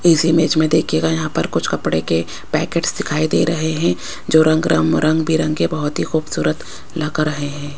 इस इमेज में देखिएगा यहां पर कुछ कपड़े के पैकेटस दिखाई दे रहे हैं जो रंग-रंग-बिरंगे बहुत ही खूबसूरत लग रहे हैं।